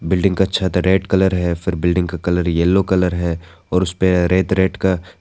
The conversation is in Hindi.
बिल्डिंग का छत रेड कलर है फिर बिल्डिंग का कलर येलो कलर है और उसपे रेड रेड का --